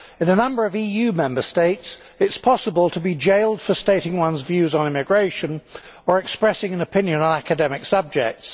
In a number of EU Member States it is possible to be jailed for stating one's views on immigration or expressing an opinion on academic subjects.